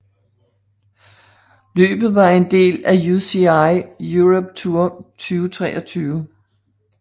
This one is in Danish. Løbet var en del af UCI Europe Tour 2023